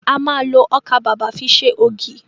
A ma lo ọkà bàbà fi ṣe ògì